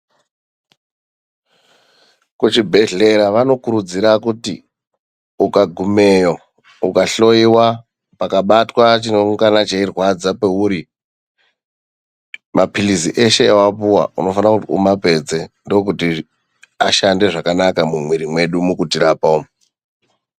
Kuchibhedhlera vanokuridzira kuti ukagumeyo, ukahloyiwa, pakabatwa chineingana cheirwadza peuri, maphirizi eshe awapuwa unofana kuti umapedze, ndokuti ashande zvakanaka mumwiri medu umu mukutirapa.